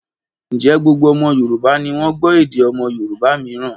Ǹjẹ́ gbogbo ọmọ Yorùbá ni wọ́n gbọ́ èdè ọmọ Yorùbá mìíràn?